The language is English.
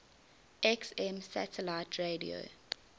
xm satellite radio